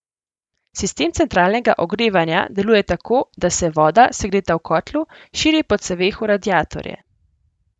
Sistem centralnega ogrevanja deluje tako, da se voda, segreta v kotlu, širi po ceveh v radiatorje.